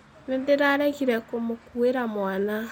Nĩ ndaaregire kũmũkuĩra mwana.